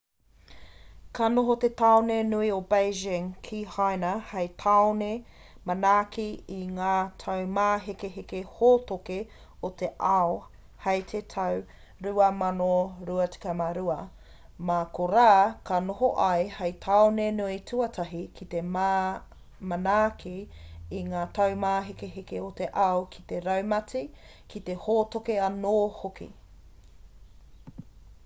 ka noho te tāone nui o beijing ki haina hei tāone manaaki i ngā taumāhekeheke hōtoke o te ao hei te tau 2022 mā korā ka noho ia hei tāone nui tuatahi ki te manaaki i ngā taumāhekeheke o te ao ki te raumati ki te hōtoke anō hoki